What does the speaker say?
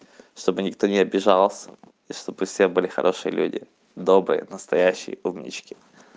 чтобы никто не обижался и чтобы все были хорошие люди добрые настоящие умнички